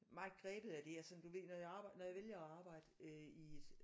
Meget grebet af det og sådan du ved når jeg arbejder når jeg vælger at arbejde øh i et